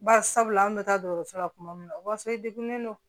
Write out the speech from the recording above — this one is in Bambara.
Bari sabula an bɛ taa dɔgɔtɔrɔso la tuma min na o b'a sɔrɔ i degunnen don